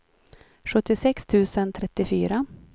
sjuttiosex tusen trettiofyra